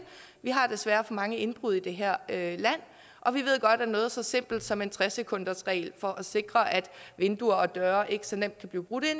vi har desværre for mange indbrud i det her land og vi ved godt at noget så simpelt som en tre sekundersregel for at sikre at vinduer og døre ikke så nemt kan blive brugt til